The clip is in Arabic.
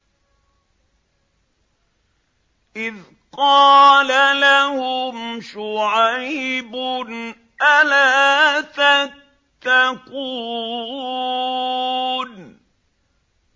إِذْ قَالَ لَهُمْ شُعَيْبٌ أَلَا تَتَّقُونَ